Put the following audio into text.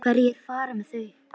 Hverjir fara með þau?